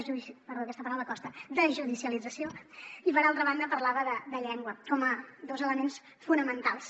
perdó aquesta paraula costa desjudicialització i per altra banda parlava de llengua com a dos elements fonamentals